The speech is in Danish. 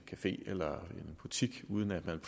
café eller en butik uden at man